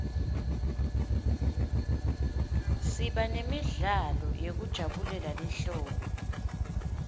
siba nemidlalo yekujabulela lihlobo